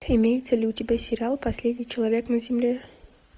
имеется ли у тебя сериал последний человек на земле